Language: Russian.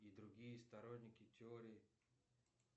и другие сторонники теории